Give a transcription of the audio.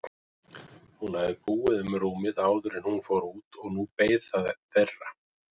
Hún hafði búið um rúmið áður en hún fór út og nú beið það þeirra.